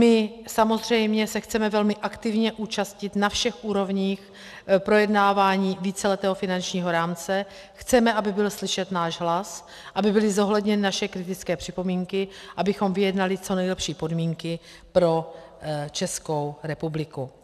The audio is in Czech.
My samozřejmě se chceme velmi aktivně účastnit na všech úrovních projednávání víceletého finančního rámce, chceme, aby byl slyšet náš hlas, aby byly zohledněny naše kritické připomínky, abychom vyjednali co nejlepší podmínky pro Českou republiku.